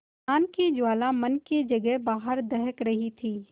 ज्ञान की ज्वाला मन की जगह बाहर दहक रही थी